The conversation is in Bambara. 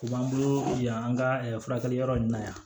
U b'an bolo yan an ka furakɛli yɔrɔ in na yan